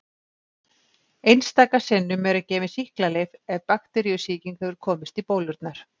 Einstaka sinnum eru gefin sýklalyf ef bakteríusýking hefur komist í bólurnar.